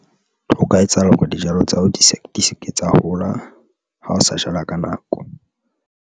Ho ka etsahala hore dijalo tsa hao di se di se ke tsa hola ha o sa jala ka nako.